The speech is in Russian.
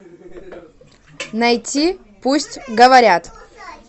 найти пусть говорят